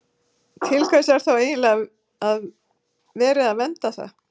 Til hvers er þá eiginlega verið að vernda það?